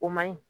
O man ɲi